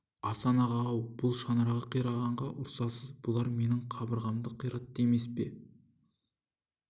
асан аға-ау бұл шаңырағы қирағанға ұрсасыз бұлар менің қабырғамды қиратты емес пе